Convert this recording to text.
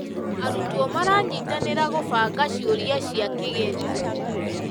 Arutwo maranyitanĩra gũbanga ciũria cia kĩgerio.